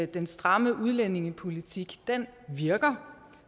den stramme udlændingepolitik virker